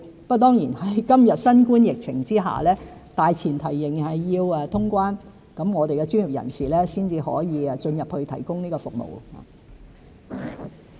不過，在今日新冠疫情之下，大前提仍然是要通關，我們的專業人士才可以進入大灣區提供服務。